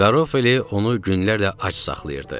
Garofoli onu günlərlə ac saxlayırdı.